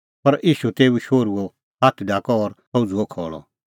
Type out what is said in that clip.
पर ईशू तेऊ शोहरूओ हाथ ढाकअ और सह उझ़ुअ खल़अ